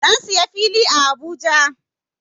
Na siya fili a Abuja.